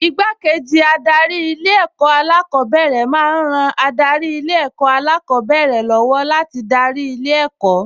Igbákejì adarí Ilé-ẹ̀kọ́ alákọ̀ọ́bẹ̀rẹ̀ máa ń ran adarí Ilé-ẹ̀kọ́ alákọ̀ọ́bẹ̀rẹ̀ lọ́wọ́ láti darí ilé ẹ̀kọ́